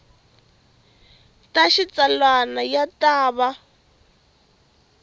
ta xitsalwana ya ta va